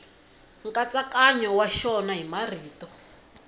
nkatsakanyo wa xona hi marito